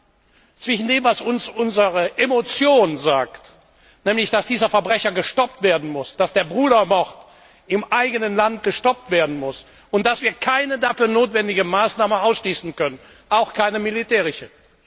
Einerseits sagt uns unsere Emotion, dass dieser Verbrecher gestoppt werden muss, dass der Brudermord im eigenen Land gestoppt werden muss und dass wir keine dafür notwendige Maßnahme ausschließen können, auch keine militärische.